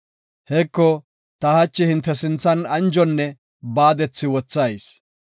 Heko, ta hachi hinte sinthan anjonne baadethi wothayis.